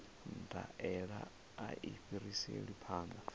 ndaela a i fhiriselwi phanḓa